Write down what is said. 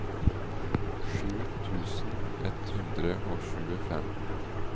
sju tusen ett hundre og tjuefem